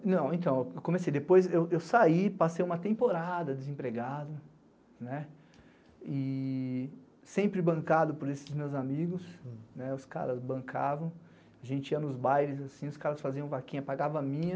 É, não, então, eu comecei depois, eu saí, passei uma temporada desempregado, né, e sempre bancado por esses meus amigos, né, os caras bancavam, a gente ia nos bairros, assim, os caras faziam vaquinha, pagava a minha,